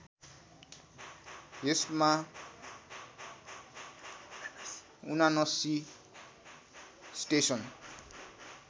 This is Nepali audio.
यसमा ७९ स्टेसन